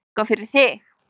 Eitthvað fyrir þig